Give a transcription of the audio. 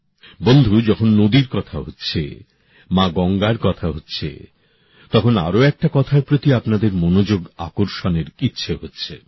বন্ধু যখন নদীর কথা হচ্ছে মা গঙ্গার কথা হচ্ছে তখন আরও একটা কথার প্রতি আপনাদের মনযোগ আকর্ষণের ইচ্ছে হচ্ছে